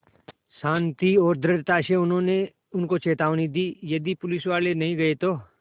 शान्ति और दृढ़ता से उन्होंने उनको चेतावनी दी यदि पुलिसवाले नहीं गए तो